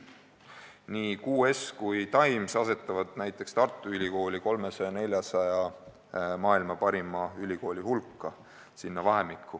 Nii QS kui ka Times asetavad näiteks Tartu Ülikooli 300–400 maailma parima ülikooli hulka.